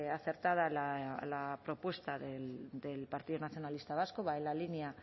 acertada la propuesta del partido nacionalista vasco va en la línea